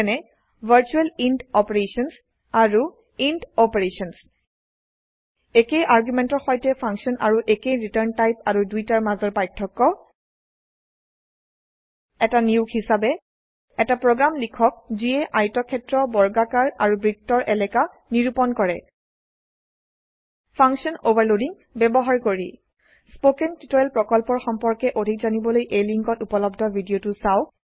যেনে virtual int operations আৰু int operations একেই আৰ্গোমেন্টৰ সৈতে ফাংশন আৰু একেই ৰিটাৰ্ন টাইপ আৰু দুইটাৰ মাজৰ পাৰ্থক্য এটা নিয়োগ হিসাবে এটা প্ৰোগ্ৰাম লিখক যিয়ে আয়তক্ষেত্ৰ বৰ্গাকাৰ আৰু বৃত্তৰ এলাকা নিৰুপণ কৰে ফাংশন ওভাৰলোডিং ব্যবহাৰ কৰি স্পোকেন টিউটোৰিয়েল প্ৰকল্পৰ সম্পৰ্কে অধিক জানিবলৈ লিঙ্কত উপলব্ধ ভিডিওটো চাওক